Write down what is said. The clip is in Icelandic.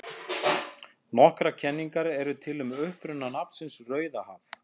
Nokkrar kenningar eru til um uppruna nafnsins Rauðahaf.